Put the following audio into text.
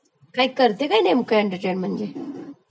काय करते काय नेमक एंटर्टेन करते म्हणजे